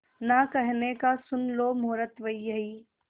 ना कहने का सुन लो मुहूर्त यही